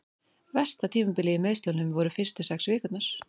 Versta tímabilið í meiðslunum voru fyrstu sex vikurnar.